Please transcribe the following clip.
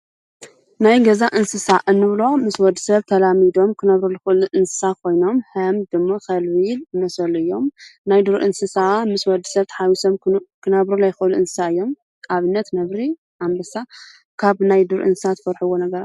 ናይ ገዛ እንስሳ እንብሎመ ምስ ወዲ ሰብ ተላሚዶም ክነብሩ ልዂእሉ እንስሳ ኾይኖም ሃም ድሙ ኸልቢ ዝኣመሳሰሉ እዮም፡፡ ናይ ዱር እንስሳ ከዓ ምስ ወዲ ሰብ ተሓዊሶም ክነብሩ ለይኽእሉ እንስሳ እዮም፡፡ ኣብነት ነብሪ፣ ኣምበሳ ካብ ናይ ዱር እንስሳታት ትፈርሕዎ ነገር....